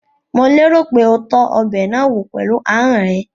Mò lérò pé o tọ́ ọbẹ̀ náà wò pẹ̀lú ahọ́n ẹ?